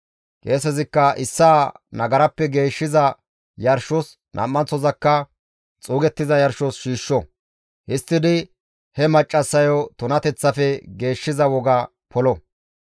Qeesezikka issaa nagarappe geeshshiza yarshos nam7anththozakka xuugettiza yarshos shiishsho; histtidi he maccassayo tunateththafe geeshshiza woga polo.